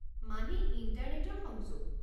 মানে ইণ্টাৰনেটৰ সংযোগ?